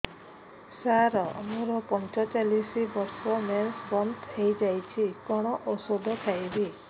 ସାର ମୋର ପଞ୍ଚଚାଳିଶି ବର୍ଷ ମେନ୍ସେସ ବନ୍ଦ ହେଇଯାଇଛି କଣ ଓଷଦ ଖାଇବି